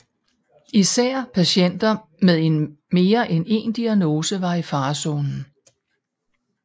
Især patienter med mere end en diagnose var i farezonen